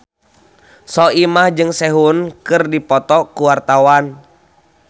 Soimah jeung Sehun keur dipoto ku wartawan